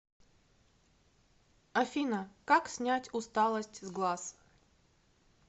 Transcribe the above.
афина как снять усталость с глаз